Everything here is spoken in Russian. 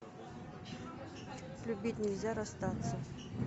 любить нельзя расстаться